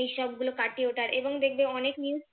এই সবগুলো কাটিয়ে ওঠার এবং দেখবে অনেক news